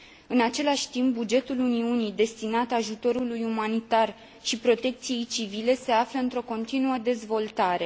În același timp, bugetul Uniunii destinat ajutorului umanitar și protecției civile, se află într o continuă dezvoltare.